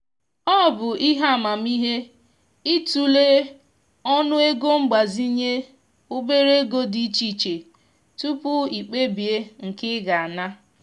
ọ bụ ihe amamihe i tụlee ọnụego mgbazinye obere ego dị iche iche tupu i kpebie nke ị ga ana.